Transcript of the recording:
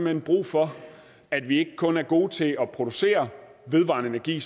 hen brug for at vi ikke kun er gode til at producere vedvarende energi